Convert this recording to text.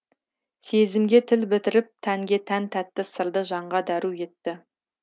сезімге тіл бітіріп тәнге тән тәтті сырды жанға дәру етті